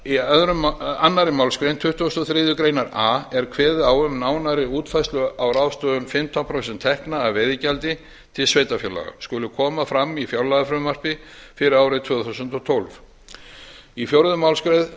í annarri málsgrein tuttugustu og þriðju grein a er kveðið á um nánari útfærslu á ráðstöfun fimmtán prósent tekna af veiðigjaldi til sveitarfélaga skuli koma fram í fjárlagafrumvarpi fyrir árið tvö þúsund og tólf í fjórðu